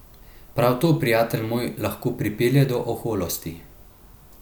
Prav to, prijatelj moj, lahko pripelje do oholosti.